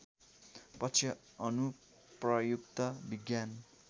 पक्ष अनुप्रयुक्त विज्ञान